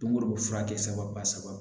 Don go don furakɛ ba saba